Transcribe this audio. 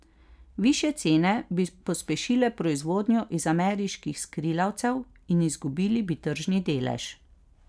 Višje cene bi pospešile proizvodnjo iz ameriških skrilavcev in izgubili bi tržni delež.